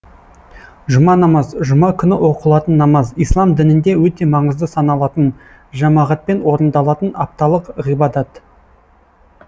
жұма намаз жұма күні оқылатын намаз ислам дінінде өте маңызды саналатын жамағатпен орындалатын апталық ғибадат